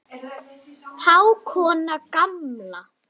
Hákonar gamla.